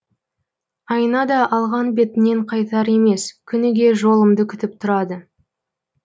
айна да алған бетінен қайтар емес күніге жолымды күтіп тұрады